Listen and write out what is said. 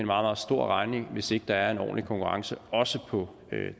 meget stor regning hvis ikke der er en ordentlig konkurrence også på